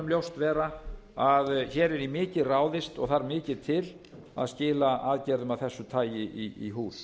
ljóst vera að hér er í mikið ráðist og þarf mikið til að skila aðgerðum af þessu tagi í hús